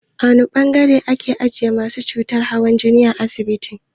A wane ɓangare ake ajiye masu cutar hawan jini a asibiti?